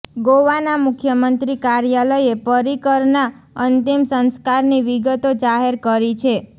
ગોવાના મુખ્ય મંત્રી કાર્યાલયે પર્રિકરના અંતિમ સંસ્કારની વિગતો જાહેર કરી છે